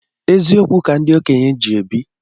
Eziokwu ka ndi okenye ji ebi